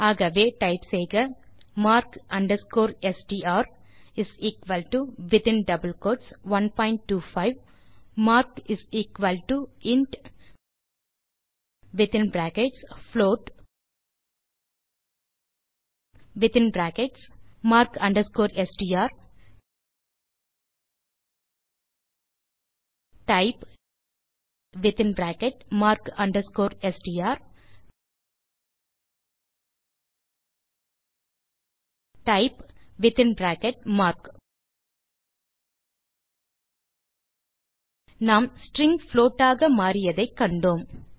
ஆகவே டைப் செய்க mark str 125 mark intfloatmark STR typemark STR type நாம் ஸ்ட்ரிங் புளோட் ஆக மாறியதை கண்டோம்